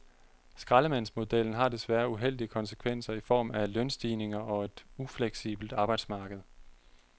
Skraldemandsmodellen har desværre uheldige konsekvenser i form af lønstigninger og et ufleksibelt arbejdsmarked.